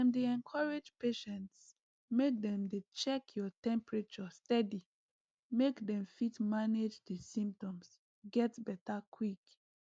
dem dey encourage patients make dem dey check your temperature steady make dem fit manage di symptoms get beta quick